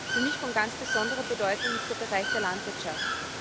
Für mich von ganz besonderer Bedeutung ist der Bereich der Landwirtschaft.